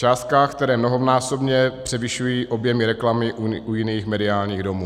Částkách, které mnohonásobně převyšují objemy reklamy u jiných mediálních domů.